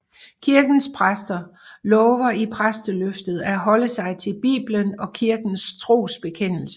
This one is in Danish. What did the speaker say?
Kirkens præster lover i præsteløftet at holde sig til Bibelen og kirkens trosbekendelse